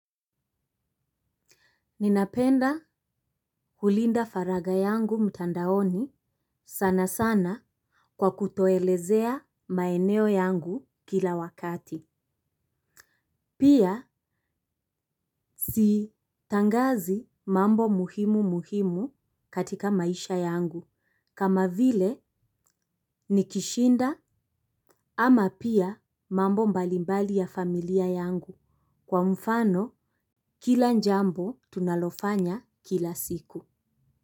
Ninapenda kulinda faragha yangu mtandaoni sana sana kwa kutoelezea maeneo yangu kila wakati. Pia sitangazi mambo muhimu muhimu katika maisha yangu kama vile, nikishinda ama pia mambo mbalimbali ya familia yangu. Kwa mfano kila njambo tunalofanya kila siku.